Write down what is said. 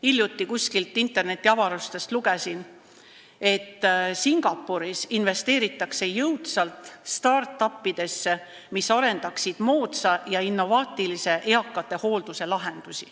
Hiljuti lugesin kuskilt internetiavarustest, et Singapuris investeeritakse jõudsalt start-up'idesse, mis hakkavad arendama lahendusi moodsa ja innovaatilise eakate hoolduse jaoks.